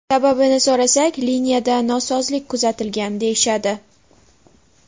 Sababini so‘rasak, liniyada nosozlik kuzatilgan, deyishadi.